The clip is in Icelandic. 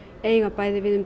eiga við um